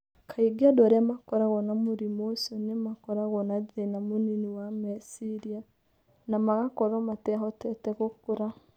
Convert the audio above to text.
Kaingĩ andũ arĩa makoragwo na mũrimũ ũcio nĩ makoragwo na thĩna mũnini wa meciria na magakorũo matehotete gũkũra.